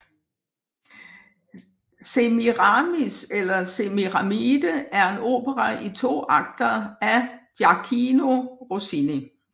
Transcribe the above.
Semiramis eller Semiramide er en opera i to akter af Gioachino Rossini